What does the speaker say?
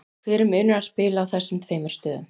Hver er munurinn að spila á þessum tveimur stöðum?